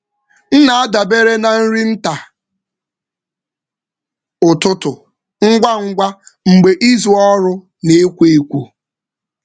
M na-adabere na nri nta ụtụtụ ngwa ngwa mgbe izu ọrụ na-ekwo ekwo.